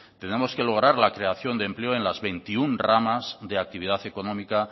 tenemos que lograr la creación de empleo en las veintiuno ramas de actividad económica